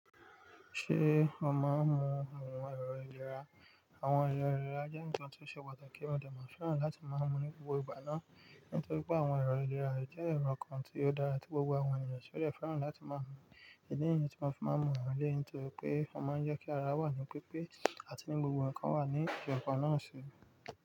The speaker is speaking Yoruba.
Ṣé o máa ń mu ohun ẹ̀lo ìlera? Àwọn ẹ̀lo ìlera jẹ́ ǹkan tó ṣe pàtàkì, ti a de tun fẹ́ràn láti máa mu ní gbogbo ìgbà náà, nítorí pé àwọn ẹ̀rọ ìlera jẹ́ ẹ̀rọ kan tí ó dára tí gbogbo àwọn ènìyàn yóò fẹ́ràn láti máa mu. Èdè èyí tí wọ́n fi máa ń mu wọ́n lé, nítorí pé wọ́n máa ń jẹ́ kí ara wà ní pípé àti ní gbogbo ǹkan wà ní ìjọba náà ṣe.